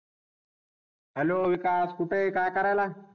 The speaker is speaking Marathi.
Hello विकास कुठय? काय करायला?